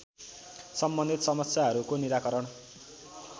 सम्बन्धित समस्याहरूको निराकरण